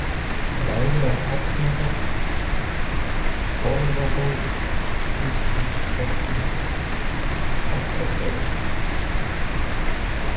Lægra-Hellnafell, Torfabót, Biskupspartur, Oddabörð